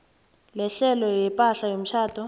lehlelo lepahla yomtjhado